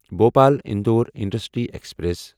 Bhopal Indore intercity express